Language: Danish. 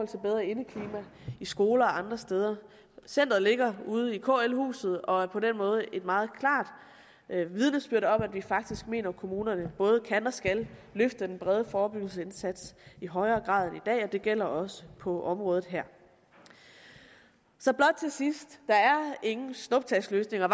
til bedre indeklima i skoler og andre steder centeret ligger ude i kl huset og er på den måde et meget klart vidnesbyrd om at vi faktisk mener kommunerne både kan og skal løfte den brede forebyggelsesindsats i højere grad end dag og det gælder også på området her så blot til sidst der er ingen snuptagsløsninger